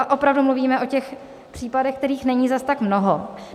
A opravdu mluvíme o těch případech, kterých není zas tak mnoho.